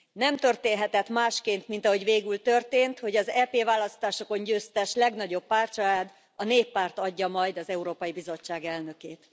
Nem történhetett másként, mint ahogy végül történt, hogy az EP választásokon győztes legnagyobb pártcsalád, a Néppárt adja majd az Európai Bizottság elnökét.